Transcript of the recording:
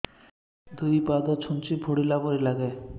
ଦୁଇ ପାଦ ଛୁଞ୍ଚି ଫୁଡିଲା ପରି ଲାଗେ